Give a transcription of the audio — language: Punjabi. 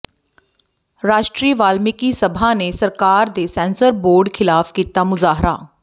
ਰਾਸ਼ਟਰੀ ਵਾਲਮੀਕਿ ਸਭਾ ਨੇ ਸਰਕਾਰ ਤੇ ਸੈਂਸਰ ਬੋਰਡ ਖ਼ਿਲਾਫ਼ ਕੀਤਾ ਮੁਜ਼ਾਹਰਾ